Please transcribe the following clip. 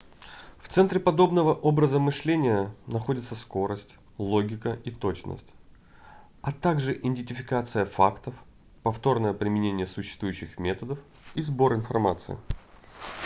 в центре подобного образа мышления находятся скорость логика и точность а также идентификация фактов повторное применение существующих методов и сбор информации